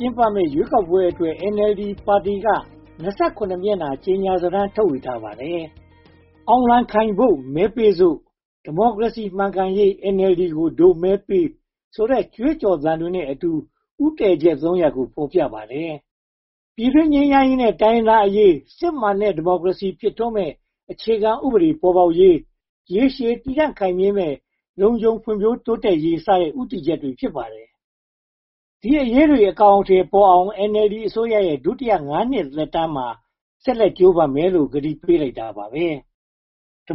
ျင်းပမယ့် ရွေးကောက်ပွဲအတွက် NLD ပါတီက (၂၇) မျက်နှာ ကြေညာစာတမ်းကို ထုတ်ဝေခဲ့ပါတယ်။ “အောင်လံခိုင်ဖို့ မဲပေးစို့”၊ “ဒီမိုကရေစီမှန်ကန်ရေး NLD ကို ဒို့မဲပေး” ဆိုတဲ့ ကြွေးကြော်သံတွေနဲ့အတူ ဦးတည်ချက် (၃) ရပ်ကို ဖော်ပြထားပါတယ်။ ပြည်တွင်းငြိမ်းချမ်းရေးနဲ့ တိုင်းရင်းသားအရေး၊ စစ်မှန်တဲ့ ဒီမိုကရေစီကို ဖြစ်ထွန်းစေမယ့် အခြေခံဥပဒေပေါ်ပေါက်ရေး၊ ရေရှည်တည်တံ့ခိုင်မြဲမယ့် လုံခြုံဖွံ့ဖြိုးတိုးတက်ရေး စတဲ့ ဦးတည်ချက်တွေ ဖြစ်ပါတယ်။ ဒီအရေးတွေ အကောင်အထည်ပေါ်အောင် NLD အစိုးရရဲ့ ဒုတိယ (၅) နှစ် သက်တမ်းမှာ ဆက်လက်ကြိုးပမ်းမယ်လို့ ဂတိပေးလိုက်တာပါ။ ဒီ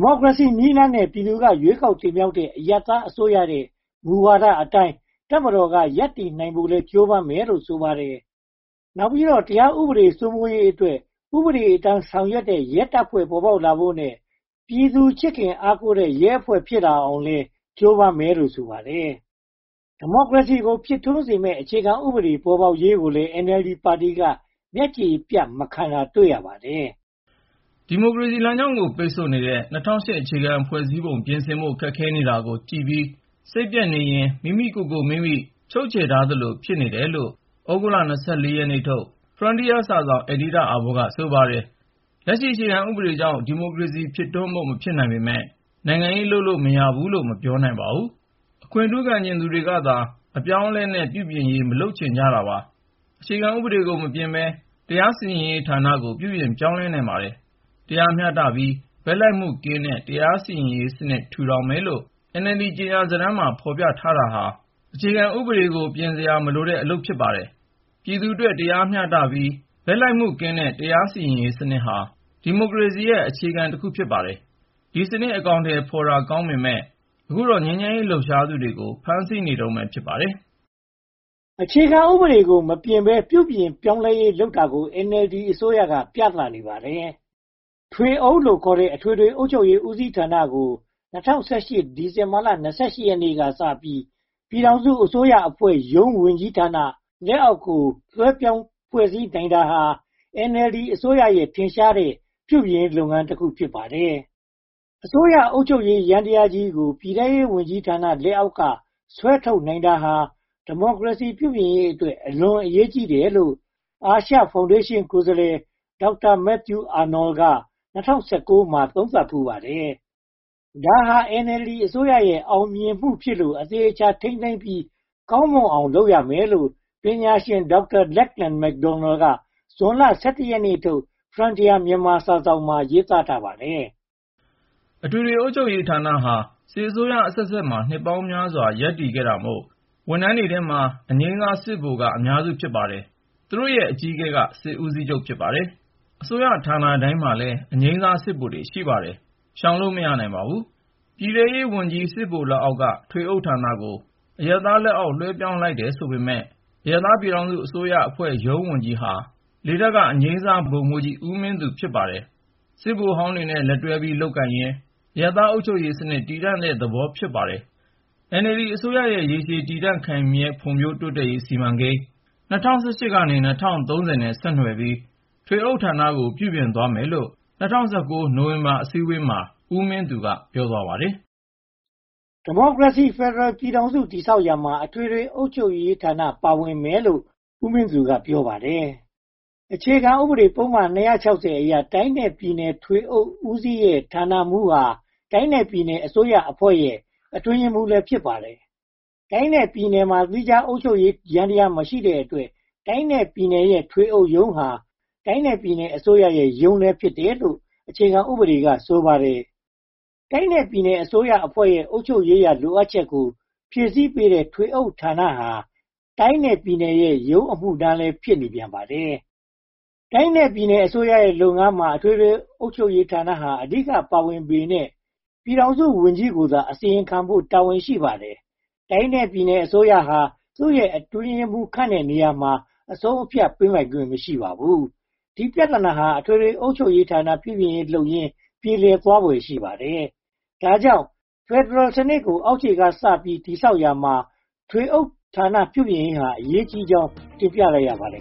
မိုကရေစီနည်းလမ်းနဲ့ ပြည်သူက ရွေးကောက်တင်မြှောက်ထားတဲ့ အရပ်သားအစိုးရရဲ့ မူဝါဒအတိုင်း တပ်မတော်က ရပ်တည်နိုင်ဖို့လည်း ကြိုးပမ်းမယ်လို့ ဆိုပါတယ်။ နောက်ပြီးတော့ တရားဥပဒေ စိုးမိုးရေးအတွက် ဥပဒေအတိုင်း ဆောင်ရွက်တဲ့ ရဲတပ်ဖွဲ့ ဖြစ်ပေါ်လာဖို့နဲ့ ပြည်သူချစ်ခင်အားကိုးတဲ့ ရဲအဖွဲ့ဖြစ်လာအောင်လည်း ကြိုးပမ်းမယ်လို့ ဆိုပါတယ်။ ဒီမိုကရေစီကို ဖြစ်ထွန်းစေမယ့် အခြေခံဥပဒေ ပေါ်ပေါက်လာရေးကိုလည်း NLD ပါတီက မျက်ခြေပြတ် မခံတာကိုလည်း တွေ့ရပါတယ်။ ဒီမိုကရေစီလမ်းကြောင်းကို ပိတ်ဆို့နေတဲ့ ၂၀၀၈ အခြေခံဥပဒေ ပြင်ဆင်ဖို့ ခက်ခဲနေတာကို ကြည့်ပြီးစိတ်ပျက်နေရင် မိမိကိုယ်မိမိ ချုပ်ချယ်ထားသလို ဖြစ်နေတယ်လို့ သြဂုတ်လ (၂၄) ရက်နေ့ထုတ် Frontier စာစောင် အယ်ဒီတာအာဘော်က ဆိုပါတယ်။ လက်ရှိအခြေခံဥပဒေအကြောင်း ဒီမိုကရေစီ ဖြစ်ထွန်းဖို့ မဖြစ်နိုင်ပေမယ့် နိုင်ငံရေးလုပ်လို့ မရဘူးလို့ မပြောနိုင်ပါဘူး။ အခွင့်ထူးခံချင်သူတွေကသာ အပြောင်းအလဲနဲ့ ပြုပြင်ရေး မလုပ်ချင်တာပါ။ အခြေခံဥ့ပဒေကို မပြင်ဘဲ၊ တရားစီရင်ရေးဌာနကို ပြုပြင်ပြောင်းလဲနိုင်ပါတယ်။ တရားမျှတပြီး ဘက်လိုက်မှုကင်းတဲ့ တရားစီရင်ရေးစနစ် ထူထောင်မယ်လို့ NLD ကြေညာစာတမ်းမှာ ဖော်ပြထားတာဟာ အခြေခံဥပဒေကို ပြင်စရာမလိုတဲ့ အလုပ်ပါ။ ပြည်သူ့အတွက် တရားမျှတပြီး ဘက်လိုက်မှုကင်းတဲ့ တရားစီရင်ရေးစနစ်ဟာ ဒီမိုကရေစီရဲ့ အခြေခံတစ်ခု ဖြစ်ပါတယ်။ ဒီစနစ် အကောင်အထည်ဖော်တာ အလွန်ကောင်းပေမယ့် အခုတော့ ငြိမ်းချမ်းစွာ လှုပ်ရှားသူတွေကို ဖမ်းဆီးနေတုန်း ဖြစ်ပါတယ်။ အခြေခံဥပဒေကို မပြင်ဘဲ ပြုပြင်ပြောင်းလဲရေး လုပ်နိုင်တာကို NLD အစိုးရက ပြသနေပါတယ်။ ထွေးအုပ်လို့ခေါ်တဲ့ အထွေထွေအုပ်ချုပ်ရေးဦးစီးဌာနကို ၂၀၁၈ ခုနှစ် ဒီဇင်ဘာလ (၂၈) ရက်နေ့ကစပြီး ပြည်ထောင်စုအစိုးရအဖွဲ့ ဝန်ကြီးဌာန လက်အောက်ကို လွှဲပြောင်းဖွဲ့စည်းနိုင်တာဟာ NLD အစိုးရရဲ့ ထင်ရှားတဲ့ ပြုပြင်ရေးလုပ်ငန်းတခု ဖြစ်ပါတယ်။ အစိုးရအုပ်ချုပ်ရေး ယန္တရားကြီးကို ပြည်ထဲရေးဝန်ကြီးဌာန လက်အောက်က ဆွဲထုတ်နိုင်တာဟာ ဒီမိုကရေစီ ပြုပြင်ရေးအတွက် အလွန်အရေးကြီးတယ်လို့ အာရှဖောင်ဒေးရှင်း ကိုယ်စားလှယ် Dr. Matthew Arnold က ၂၀၁၉ မှာ သုံးသပ်ဖူးပါတယ်။ ဒါဟာ NLD အစိုးရရဲ့ အောင်မြင်မှုဖြစ်လို့ အသေအချာ ထိန်းသိမ်းပြီး ကောင်းမွန်အောင်လုပ်မယ်လို့ ပညာရှင် Dr.Lachlan McDonald က ဇွန်လ (၁၁) ရက်နေ့ထုတ် Frontier Myanmar စာစောင်မှာ ရေးသားထားပါတယ်။ အထွေထွေအုပ်ချုပ်ရေးဌာနဟာ စစ်အစိုးရအဆက်ဆက်မှာ နှစ်ပေါင်းများစွာ ရပ်တည်ခဲ့တာမို့ အရာထမ်းထဲမှာ အငြိမ်းစာစစ်ဗိုလ်က အများစု ဖြစ်ပါတယ်။ သူတို့ရဲ့ အကြီးအကဲဟာ စစ်ဦးစီးချုပ်ပါ။ အစိုးရဌာနတိုင်းမှာ အငြိမ်စားစစ်ဗိုလ် ရှိပါတယ်။ ရှောင်လို့မရပါဘူး။ ပြည်ထဲရေးဝန်ကြီး စစ်ဗိုလ်လက်အောက်က ထွေအုပ်ဌာနကို အရပ်သားလက်အောက် လွှဲပြောင်းလိုက်တယ်ဆိုပေမယ့် အရပ်သား ပြည်ထောင်စုအစိုးရအဖွဲ့ရုံးဝန်ကြီးဟာ လေတပ်က အငြိမ်းစားဗိုလ်မှူးကြီး ဦးမင်းသူ ဖြစ်နေပါတယ်။ စစ်ဗိုလ်ဟောင်းတွေနဲ့ လက်တွဲပြီး လုပ်ကိုင်ရင်း အရပ်သားအုပ်ချုပ်ရေးစနစ် တည်ဆောက်တဲ့သဘော ဖြစ်ပါတယ်။ NLD အစိုးရရဲ့ ရေရှည်တည်တံ့ခိုင်မြဲ ဖွံ့ဖြိုးတိုးတက်ရေးစီမံကိန်း (၂၀၁၈-၂၀၃၀) နဲ့ ဆက်နွယ်ပြီး ထွေအုပ်ဌာနကို ပြုပြင်သွားမယ်လို့ ၂၀၁၉ နိုဝင်ဘာလ အစည်းအဝေးမှာ ဦးမင်းသူက ပြောသွားပါတယ်။ ဒီမိုကရေစီဖယ်ဒရယ် ပြည်ထောင်စု တည်ဆောက်ရာမှာ အထွေထွေအုပ်ချုပ်ရေးဌာန ပါဝင်မယ်လို့လည်း ဦးမင်းသူက ပြောပါတယ်။ အခြေခံဥပဒေပုဒ်မ (၂၆၀) အရ တိုင်းနဲ့ပြည်နယ် ထွေအုပ်ဦးစီးရဲ့ ဌာနမှူးဟာ တိုင်းနဲ့ပြည်နယ်အစိုးရအဖွဲ့ရဲ့ အတွင်းရေးမှူးလည်း ဖြစ်ပါတယ်။ တိုင်းနဲ့ပြည်နယ်မှာ သီးခြားအုပ်ချုပ်ရေးယန္တရား မရှိတဲ့အတွက် တိုင်းနဲ့ပြည်နယ်ရဲ့ ထွေအုပ်ရုံးဟာ တိုင်းနဲ့ပြည်နယ်အစိုးရရုံးလည်း ဖြစ်တယ်လို့ အခြေခံဥပဒေက ဆိုပါတယ်။ တိုင်းနဲ့ပြည်နယ်အစိုးရအဖွဲ့ရဲ့ အုပ်ချုပ်ရေးရာ လိုအပ်ချက်ကို ဖြည့်ဆည်းပေးတဲ့ ထွေးအုပ်ဌာနဟာ တိုင်းနဲ့ပြည်နယ်ရဲ့ ရုံးအမှုထမ်းလည်း ဖြစ်နေပြန်ပါတယ်။ တိုင်းနဲ့ပြည်နယ်အစိုးရရဲ့လုပ်ငန်းမှာ အထွေထွေအုပ်ချုပ်ရေးဌာနဟာ အဓိက ပါဝင်ပေမယ့် ပြည်ထောင်စုဝန်ကြီးကိုသာ အစီရင်ခံဖို့ တာဝန်ရှိပါတယ်။ တိုင်းနဲ့ပြည်နယ်အစိုးရဟာ သူတို့ရဲ့အတွင်းရေးမှူး ခန့်အပ်တဲ့နေရာမှာ အဆုံးအဖြတ်ပေးနိုင်ခွင့် မရှိပါဘူး။ ဒီပြဿနာတွေဟာ အထွေထွေအုပ်ချုပ်ရေးဌာန ပြုပြင်ရေးလုပ်ရင်း ပြေလည်သွားဖွယ် ရှိပါတယ်။ ဒါကြောင့် ဖယ်ဒရယ်စနစ်ကို အောက်ခြေကစပြီး တည်ဆောက်ရာမှာ ထွေအုပ်ဌာန ပြုပြင်ရေးဟာ အရေးကြီးကြောင်း တင်ပြလိုက်ရပါတယ်